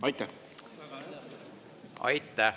Aitäh!